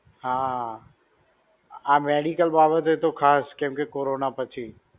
હા. આ medical બાબતે તો ખાસ કેમકે Corona પછી.